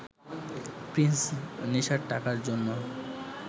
Prince নেশার টাকার জন্য